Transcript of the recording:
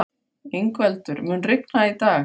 Yngveldur, mun rigna í dag?